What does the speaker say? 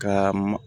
Ka ma